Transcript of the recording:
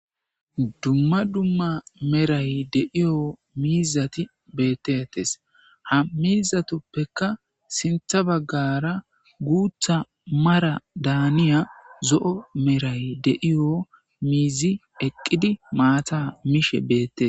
Dumma dumma Meray de7iyo miizati beettettes. Ha miizatuppeka sintha baggaara guutha mara daaniya zo7o meray de7iyo miizi eqqidi maata mishe beettes.